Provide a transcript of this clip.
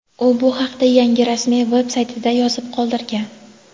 U bu haqda yangi rasmiy veb-saytida yozib qoldirgan.